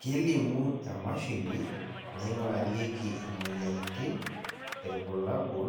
kelimu emashini naingurarieki imoyiaritin irbulabol